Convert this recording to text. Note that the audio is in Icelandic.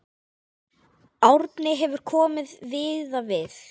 Árni hefur komið víða við.